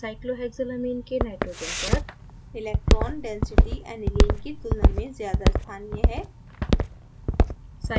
cyclohexylamine के nitrogen पर electron डेंसिटीaniline की तुलना में ज़्यादा स्थानीय है